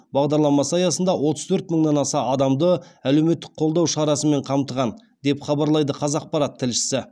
бағдарламасы аясында отыз төрт мыңнан аса адамды әлеуметтік қолдау шарасымен қамтыған деп хабарлайды қазақпарат тілшісі